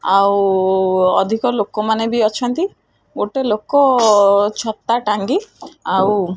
ଆଉ ଅଧିକ ଲୋକମାନେ ବି ଅଛନ୍ତି ଗୋଟେ ଲୋକ ଛତା ଟାଙ୍ଗି ଆଉ --